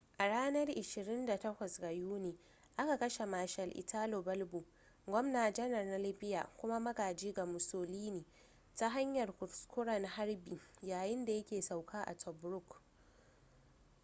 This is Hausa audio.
a ranar 28 ga yuni aka kashe marshal italo balbo gwamna-janar na libya kuma magaji ga mussolini ta hanyar kuskuren harbi yayin da yake sauka a tobruk